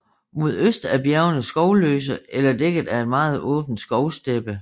Mod øst er bjergene skovløse eller dækket af en meget åben skovsteppe